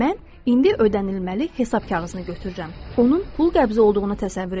Mən indi ödənilməli hesab kağızını götürürəm, onun pul qəbzi olduğunu təsəvvür edirəm.